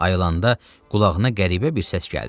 Ayılanda qulağına qəribə bir səs gəldi.